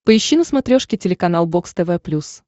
поищи на смотрешке телеканал бокс тв плюс